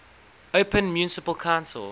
open municipal council